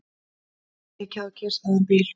Ekið á kyrrstæðan bíl